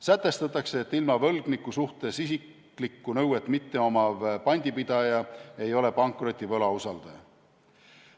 Sätestatakse, et võlgniku suhtes isiklikku nõuet mitte omav pandipidaja ei ole pankroti võlausaldaja.